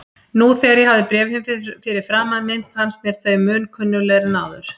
Nú þegar ég hafði bréfin fyrir framan mig fannst mér þau mun kunnuglegri en áður.